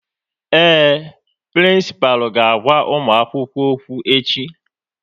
Ee, prịnsịpalụ ga-agwa ụmụakwukwo okwu echi